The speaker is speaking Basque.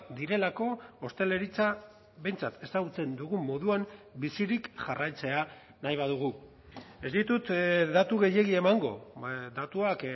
direlako ostalaritza behintzat ezagutzen dugun moduan bizirik jarraitzea nahi badugu ez ditut datu gehiegi emango datuak